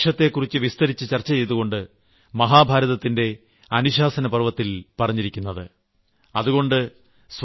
എന്താണ് വൃക്ഷത്തെക്കുറിച്ച് വിസ്തരിച്ച് ചർച്ച ചെയ്തുകൊണ്ട് മഹാഭാരതത്തിന്റെ അനുശാസനപർവ്വഅച്ചടക്ക പർവ്വംത്തിൽ പറഞ്ഞിരിക്കുന്നത്